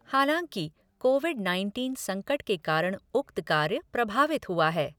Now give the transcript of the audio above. हालांकि COVID nineteen संकट के कारण उक्त कार्य प्रभावित हुआ है।